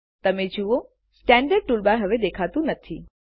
તમે જુઓ standard toolbar હવે દેખાતું નથી